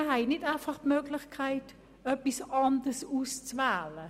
Wir haben nicht einfach die Möglichkeit, etwas anderes auszuwählen.